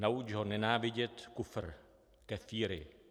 Nauč ho nenávidět kufr, kefíry."